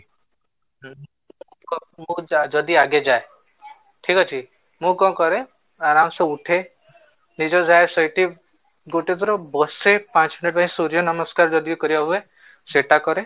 ଯଦି ଆଗେ ଯାଏ ଠିକ ଅଛି, ମୁଁ କଣ କରେ ଆରାମ ସେ ଉଠେ ନିଜେ ଯାଏ ସେଇଠି ଗୋଟେ ଥର ବସେ ପାଞ୍ଚ ମିନିଟ ପାଇଁ ସୂର୍ଯ୍ୟ ନମସ୍କାର ଯଦି କରିବା ହୁଏ ସେଟା କରେ